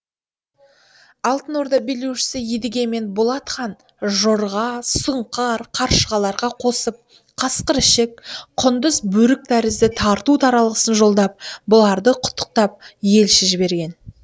алтын орда билеушісі едігемен болат хан жорға сұңқар қаршығаларға қосып қасқыр ішік құндыз бөрік тәрізді тарту таралғысын жолдап бұларды құттықтап елші жіберген